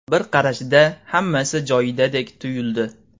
Bir qarashda hammasi joyidadek tuyuldi.